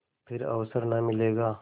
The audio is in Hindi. फिर अवसर न मिलेगा